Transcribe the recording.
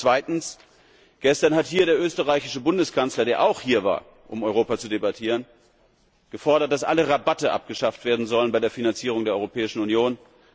ein Problem. Zweitens Gestern hat hier der österreichische Bundeskanzler, der auch hier war, um über Europa zu debattieren, gefordert, dass alle Rabatte abgeschafft werden sollen bei der Finanzierung der Europäischen